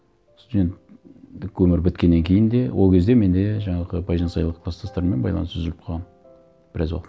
студенттік өмір біткеннен кейін де ол кезде менде жаңағы байжансайлық кластастармен байланыс үзіліп қалған біраз уақыт